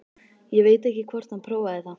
Ég veit ekki hvort hann prófaði það.